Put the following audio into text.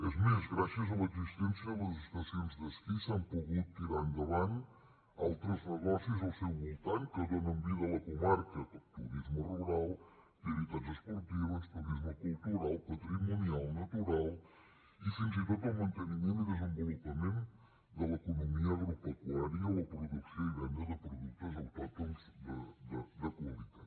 és més gràcies a l’existència de les estacions d’esquí s’han pogut tirar endavant altres negocis al seu voltant que donen vida a la comarca turisme rural activitats esportives turisme cultural patrimonial natural i fins i tot el manteniment i desenvolupament de l’economia agropecuària la producció i venda de productes autòctons de qualitat